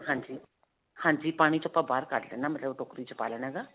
ਹਾਂਜੀ. ਹਾਂਜੀ. ਪਾਣੀ 'ਚੋਂ ਆਪਾਂ ਬਾਹਰ ਕੱਢ ਲੈਣਾ ਮਤਲਬ ਟੋਕਰੀ 'ਚ ਪਾ ਲੈਣਾ ਹੈਗਾ.